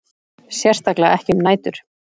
Sérstaklega ekki um nætur.